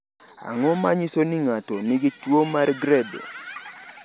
Ang’o ma nyiso ni ng’ato nigi tuwo mar Grebe?